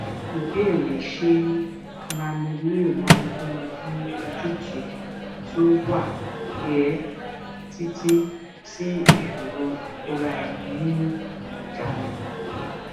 ìbéèrè ṣé nanoleo máa fúnni ní ojútùú tó wà pẹ́ títí sí ìṣòro ìkóra ẹni ní ìjánu